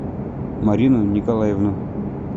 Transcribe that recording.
марину николаевну